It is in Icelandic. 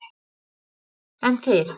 Karen: En þið?